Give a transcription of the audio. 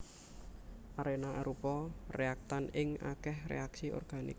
Arena arupa réaktan ing akèh reaksi organik